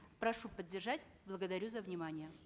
прошу поддержать благодарю за внимание